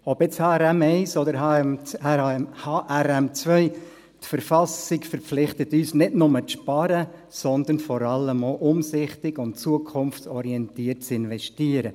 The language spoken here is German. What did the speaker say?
Ob nun HRM1 oder HRM2, die Verfassung verpflichtet uns nicht nur dazu, zu sparen, sondern vor allem auch, umsichtig und zukunftsorientiert zu investieren.